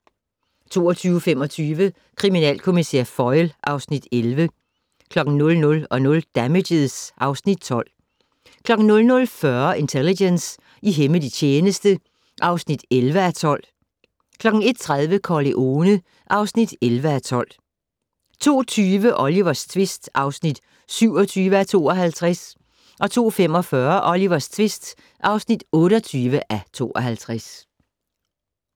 22:25: Kriminalkommissær Foyle (Afs. 11) 00:00: Damages (Afs. 12) 00:40: Intelligence - i hemmelig tjeneste (11:12) 01:30: Corleone (11:12) 02:20: Olivers tvist (27:52) 02:45: Olivers tvist (28:52)